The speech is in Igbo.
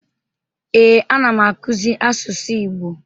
Ee, anam akuzi asusu Igbo.